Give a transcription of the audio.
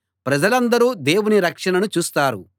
ప్రజలందరూ దేవుని రక్షణను చూస్తారు